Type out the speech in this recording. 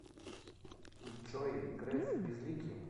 джой греф безликий